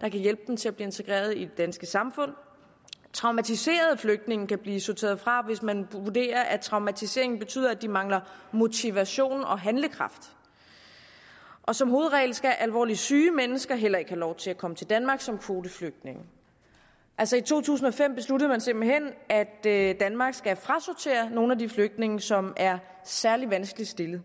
der kan hjælpe dem til at blive integreret i det danske samfund traumatiserede flygtninge kan blive sorteret fra hvis man vurderer at traumatiseringen betyder at de mangler motivation og handlekraft og som hovedregel skal alvorligt syge mennesker heller ikke have lov til at komme til danmark som kvoteflygtninge altså i to tusind og fem besluttede man simpelt hen at danmark skal frasortere nogle af de flygtninge som er særlig vanskeligt stillede